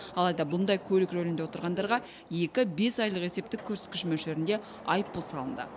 алайда бұндай көлік рөлінде отырғандарға екі бес айлық есептік көрсеткіш мөлшерінде айыппұл салынды